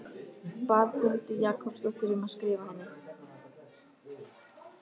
Bað Huldu Jakobsdóttur um að skrifa henni.